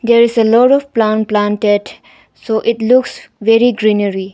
There is a lot of plant planted so it looks very greenary.